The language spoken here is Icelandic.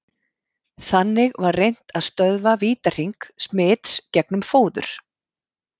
Þannig var reynt að stöðva vítahring smits gegnum fóður.